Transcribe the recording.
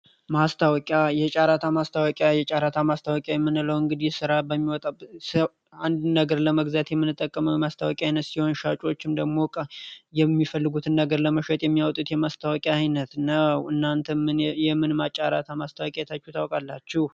ማስታወቂያ የጫራታ ማስታወቂያ የምንለው እንግዲህ ሥራ በሚወጣበት አንድ ነገር ለመግዚያት የምንጠቀመ የማስታወቂ ዓይነት ሲሆን ሻጩዎች ምደግሞ የሚፈልጉትን ነገር ለመሾጥ የሚያወጥት የማስታወቂያ ዓይነት ነው። እናንተ የምንም አጫራታ ማስታወቂ የታችሁ ታወቃላችሁ?